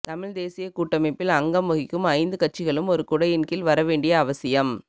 தமிழ் தேசியக் கூட்டமைப்பில் அங்கம் வகிக்கும் ஐந்து கட்சிகளும் ஒரு குடையின் கீழ் வரவேண்டிய அவசியம்